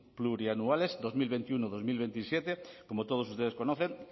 plurianuales dos mil veintiuno dos mil veintisiete como todos ustedes conocen